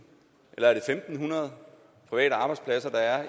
eller er det fem hundrede private arbejdspladser der er